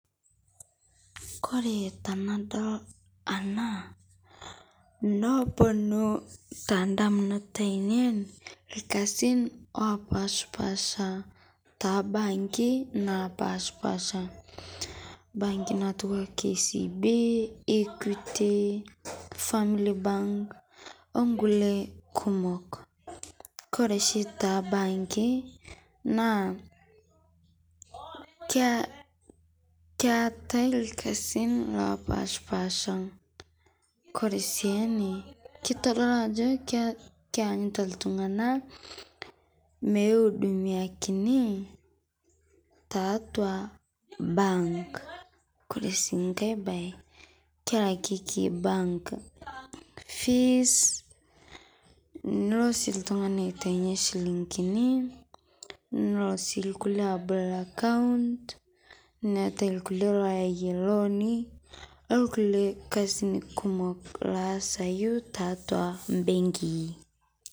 Kore tanadol ana noponu tandamunot ainen lkazin opashpasha tabanki napashpasha banki natua kcb, equity, family bank onkule kumok, kore shii tebanki naa ketae lkazin lopashpasha Kore si ene keitodolu ajo keanyuta ltungana meudumiakini tatua bank, kore sii nkae bae kelakeki bank fees nulo si ltungani aitenye silingini nolo si lkule abol akaunt netae lkule ayia looni olkule lkazin kumok laasayu tatua benkii.